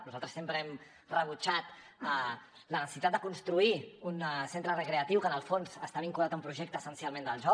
nosaltres sempre hem rebutjat la necessitat de construir un centre recreatiu que en el fons està vinculat a un projecte essencialment del joc